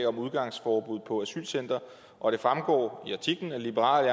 om udgangsforbud på asylcentre og det fremgår af artiklen at liberal